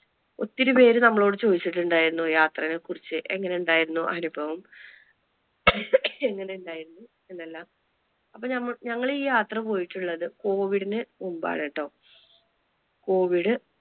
ഒത്തിരി പേര് നമ്മളോട് ചോദിച്ചുണ്ടായിരുന്നു യാത്രെനെ കുറിച്ച് എങ്ങനെ ഉണ്ടായിരുന്നു അനുഭവം? എങ്ങനെ ഉണ്ടായിരുന്നു എന്നെല്ലാം. അപ്പൊ ഞങ്ങൾ ഈ യാത്ര പോയിട്ടുള്ളത് covid നു മുൻപ് ആണേട്ടോ. covid